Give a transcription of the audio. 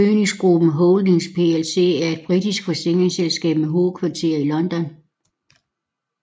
Phoenix Group Holdings plc er et britisk forsikringsselskab med hovedkvarter i London